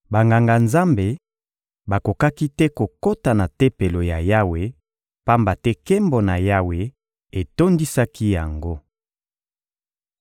Banganga-Nzambe bakokaki te kokota na Tempelo ya Yawe, pamba te nkembo na Yawe etondisaki yango.